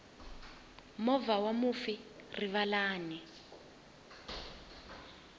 movha wa mufi rivalani